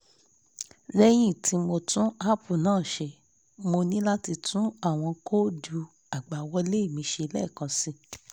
lẹ́yìn tí mo tún app náà ṣe mo ní láti tún àwọn kóòdù àgbàwọlé mi ṣe lẹ́ẹ̀kan síi